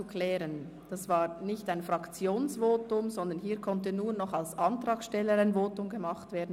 Zur Klärung: Das war jetzt nicht ein Fraktionsvotum, sondern an dieser Stelle konnte nur noch der Antragsteller ein Votum abgeben.